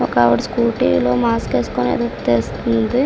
ఒక ఆవిడ స్కూటీ లో మాస్క్ వేసుకొని వెళ్లి తెలుస్తుంది.